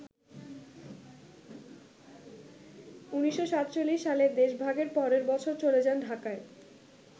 ১৯৪৭ সালে দেশভাগের পরের বছর চলে যান ঢাকায়।